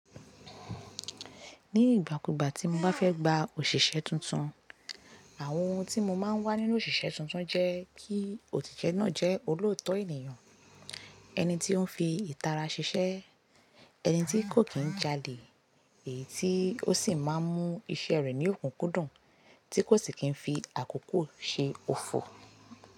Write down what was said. Ní ìgbàkúgbà tí mo bá fẹ́ gba òṣìṣẹ́ tuntun, àwọn ohun tí mo máa ń wá nínú òṣìṣẹ́ tuntun jẹ́ kí òtítọ́ náà jẹ́ olóòótọ́ ènìyàn, ẹni tí ó ń fi ìtara ṣiṣẹ́, ẹni tí kò kí ń jalè èyí tí ó sì máa ń mú iṣẹ́ rẹ̀ ní òkúkú dùn tí kò sì kí ń fi àkókò ṣe òfò.